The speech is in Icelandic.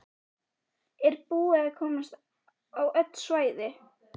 Brynhildur Ólafsdóttir: Er búið að komast á öll svæði?